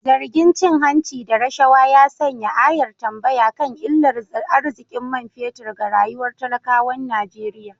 Zargin cin hanci da rashawa ya sanya ayar tambaya kan illar arzikin man fetur ga rayuwar talakawan Najeriya.